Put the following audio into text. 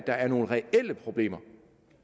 der er nogle reelle problemer